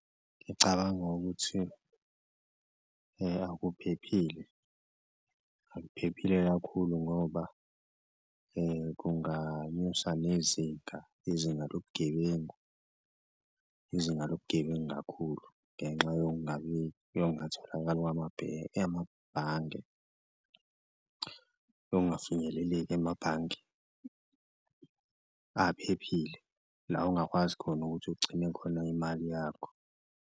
Ngicabanga ukuthi akuphephile, akuphephile kakhulu ngoba kunganyusa nezinga izinga lobugebengu, izinga lobugebengu kakhulu ngenxa yokungatholakali amabhange ongafinyeleleki emabhange aphephile, la ongakwazi khona ukuthi ugcine khona imali yakho.